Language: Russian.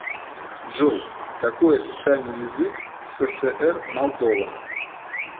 джой какой официальный язык в сср молдова